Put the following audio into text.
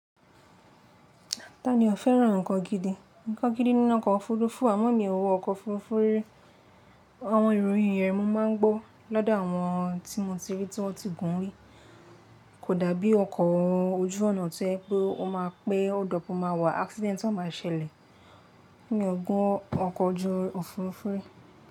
Ta ni ò fẹ́ràn nkan gidi? Nkan gidi ni iná ọkọ̀ òfurufú, àmọ́ mi ò wọ ọkọ̀ òfurufú rí. Àwọn ìròyìn rẹ̀ mo máa ń gbó lọ́dọ̀ àwọn tí mo ti rí tí wọ́n ti gùn ún rí. Kò dàbí ọkọ̀ ojú ọ̀nà tí ẹ pé ó máa pé ó dọ̀pọ̀ máa wà accident tí wọ́n máa ṣẹlẹ̀ ní ọgbọ́n ọkọ̀ ojú òfurufú.